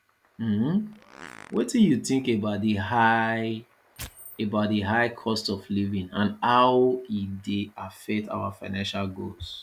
um wetin you think about di high about di high cost of living and how e dey affect our financial goals